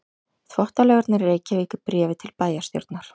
Þvottalaugarnar í Reykjavík í bréfi til bæjarstjórnar.